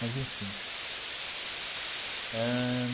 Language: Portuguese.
Mas enfim ãh.